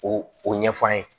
O o ɲɛfɔ an ye